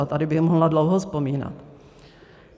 A tady bych mohla dlouho vzpomínat.